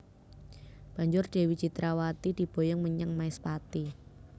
Banjur Dewi Citrawati diboyong menyang Maespati